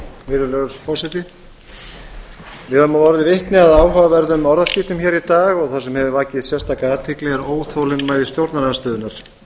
virðulegur forseti við höfum orðið vitni að áhugaverðum orðaskiptum hér í dag og það sem hefur vakið sérstaka athygli er óþolinmæði stjórnarandstöðunnar